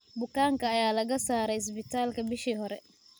Bukaanka ayaa laga saaray isbitaalka bishii hore.